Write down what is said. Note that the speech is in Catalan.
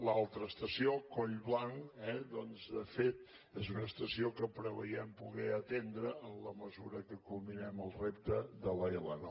l’altra estació collblanc eh doncs de fet és una estació que preveiem poder atendre en la mesura que culminem el repte de l’l9